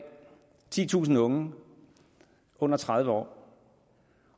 titusind unge under tredive år